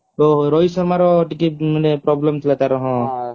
ଓହୋ ରୋହିତ ଶର୍ମା ର ଟିକେ ମାନେ problem ଥିଲା ତାର ହଁ